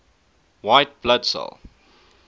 white blood cell